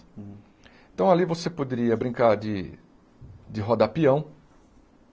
Então, ali você poderia brincar de... de rodar peão.